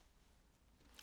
DR1